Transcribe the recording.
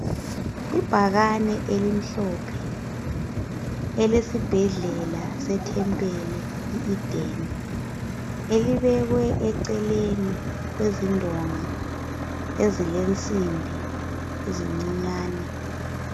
Ibhakane elimhlophe elesibhedlela lase Thempele iEden. Elibekwe eceleni kwezindonga ezilensimbi ezincinyane.